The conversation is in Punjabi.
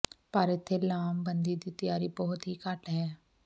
ਪਰ ਇੱਥੇ ਲਾਮਬੰਦੀ ਦੀ ਤਿਆਰੀ ਬਹੁਤ ਹੀ ਘੱਟ ਹੈ